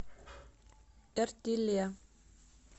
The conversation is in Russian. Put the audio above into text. эртиле